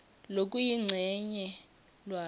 lokuyincenye lwati